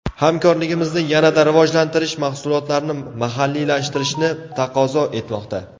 Hamkorligimizni yanada rivojlantirish mahsulotlarni mahalliylashtirishni taqozo etmoqda.